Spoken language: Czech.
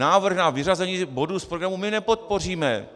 Návrh na vyřazení bodu z programu my nepodpoříme.